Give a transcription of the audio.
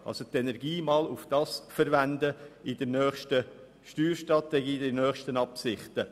Verwenden Sie also die Energie in der nächsten Steuerstrategie einmal darauf.